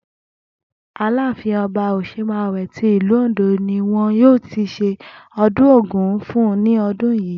Ààfin O̩ba Òs̩emàwé ti ìlú Òǹdó ni wo̩n yóò ti s̩e o̩dún Ògún fún ní o̩dún yìí